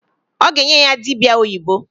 Ọ ga-enye ya dịbịa oyibo.